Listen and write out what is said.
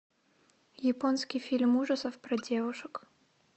японский фильм ужасов про девушек